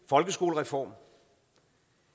folkeskolereform